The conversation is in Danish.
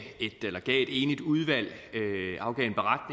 enigt udvalg